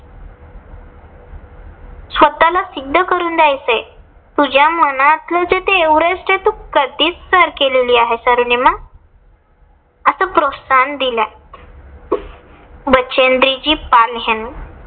स्वतःला सिद्ध करून द्यायचय. तुझ्या मनातलं जे एव्हरेस्ट आहे. ते तू कधीच सर केलेली आहेस अरुनिमा. अस प्रोत्साहन दिलय. बछेन्द्रीजी पाल ह्यांनी